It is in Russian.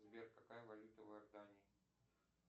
сбер какая валюта в иордании